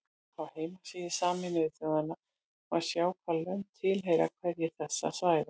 Á heimasíðu Sameinuðu þjóðanna má sjá hvaða lönd tilheyra hverju þessara svæða.